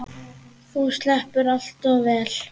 Þú sleppur allt of vel.